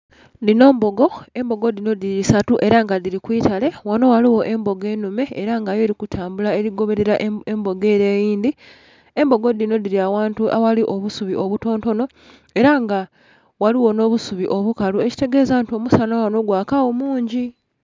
Dhinho mbogo, embogo dhinho dhili isatu era nga dhili kwiitale, ghanho ghaligho embogo enhume era nga yo elikutambula eligobelela embogo ere eyindhi. Embogo dhinho dhili aghantu aghali obusubi oboto ntono era nga ghaligho nho busubi obukalu ekitegeza nti omusanha ghanho gwakagho mungi.